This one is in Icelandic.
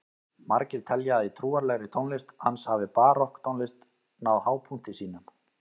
Margir telja að í trúarlegri tónlist hans hafi barokktónlist náð hápunkti sínum.